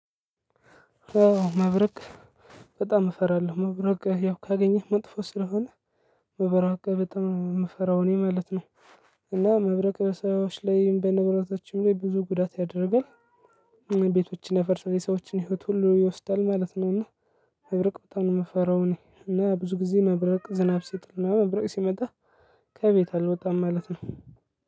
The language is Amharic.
መብረቅ በጣም እፈራለሁ መብረቅ ያው ካገኘህ መጥፎ ስለሆነ መብረቅ በጣም የምፈራው እኔ ማለት ነው። እና መብረቅ በሰዎች ላይም በንብረቶችም ላይ ብዙ ጉዳት ያደርጋል። ቤቶችን ያፈርሳል የሰዎችን ህይወት ሁሉ ይወስዳል ማለት ነው እና። እብርቅ በጣም ነው የምፈራው እኔ እና ብዙ ጊዜ መብረቅ ዝናብ ሲጥል መብረቅ ሲመጣ። ከቤት አልወጣም ማለት ነው።